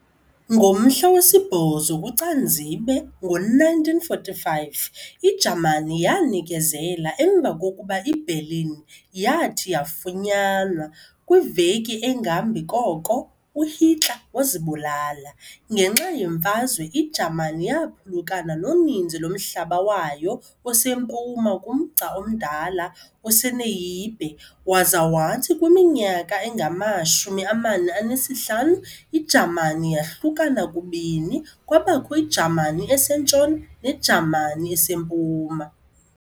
Ngomhla we-8 kuCanzibe ngo-1945, iJamani yanikezela emva kokuba iBerlin yathi yafunyanwa, kwiveki engambi koko uHitler wazibulala. ngenxa yeMfazwe, iJamani yaphulukana noninzi lomhlaba wayo osempuma kumgca omdala oseNeiße, waza wathi kwiminyaka engama-45, iJamani yahlukana kubini kwabakho iJamani eseNtshona neJamani eseMpuma.